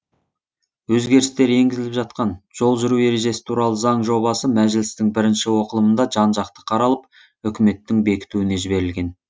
өзгерістер енгізіліп жатқан жол жүру ережесі туралы заң жобасы мәжілістің бірінші оқылымында жан жақты қаралып үкіметтің бекітуіне жіберілген